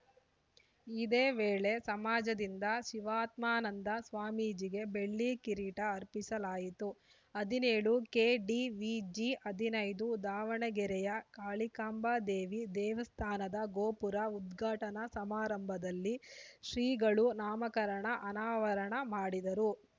ಇದೇ ವೇಳೆ ಸಮಾಜದಿಂದ ಶಿವಾತ್ಮಾನಂದ ಸ್ವಾಮೀಜಿಗೆ ಬೆಳ್ಳಿ ಕಿರೀಟ ಅರ್ಪಿಸಲಾಯಿತು ಹದಿನೇಳು ಕೆಡಿವಿಜಿ ಹದಿನೈದು ದಾವಣಗೆರೆಯ ಕಾಳಿಕಾಂಬ ದೇವಿ ದೇವಸ್ಥಾನದ ಗೋಪುರ ಉದ್ಘಾಟನಾ ಸಮಾರಂಭದಲ್ಲಿ ಶ್ರೀಗಳು ನಾಮಕರಣ ಅನಾವರಣ ಮಾಡಿದರು